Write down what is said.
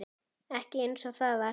Ekki einsog það var.